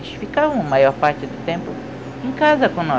Eles ficavam a maior parte do tempo em casa com nós.